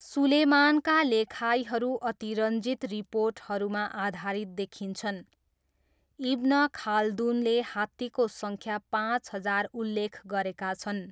सुलेमानका लेखाइहरू अतिरञ्जित रिपोर्टहरूमा आधारित देखिन्छन्, इब्न खाल्दुनले हात्तीको सङ्ख्या पाँच हजार उल्लेख गरेका छन्।